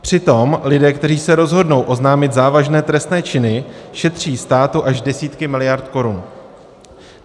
Přitom lidé, kteří se rozhodnou oznámit závažné trestné činy, šetří státu až desítky miliard korun.